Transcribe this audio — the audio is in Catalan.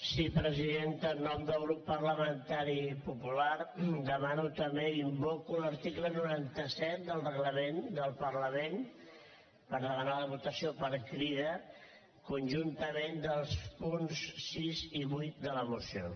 sí presidenta en nom del grup parlamentari popular demano també invoco l’article noranta set del reglament del parlament per demanar la votació per crida conjuntament dels punts sis i vuit de la resolució